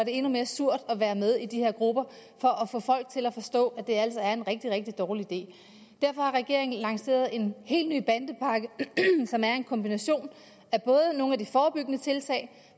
endnu mere surt at være med i de her grupper for at få folk til at forstå at det altså er en rigtig rigtig dårlig idé derfor har regeringen lanceret en helt ny bandepakke som er en kombination af nogle af de forebyggende tiltag